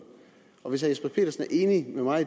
og hvis herre jesper petersen er enig med mig